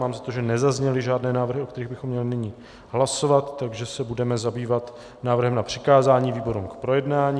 Mám za to, že nezazněly žádné návrhy, o kterých bychom měli nyní hlasovat, takže se budeme zabývat návrhem na přikázání výborům k projednání.